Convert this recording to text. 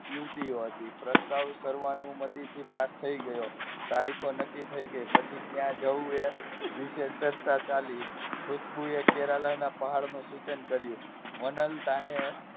યુવતીઓ હતી પ્રસ્તાવ સર્વ અનુમતિથી પાસ થઈ ગયો તારીખો નક્કી થઈ ગઈ પછી ક્યાં જવું એ વિશે ચર્ચા ચાલી હતી ખુશ્બુ એ કેરલા ના પહાડ નું સૂચન કર્યું વનલતા ને